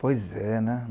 Pois é, né?